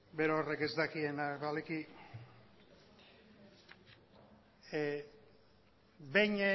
berorrek ez dakiena baleki behin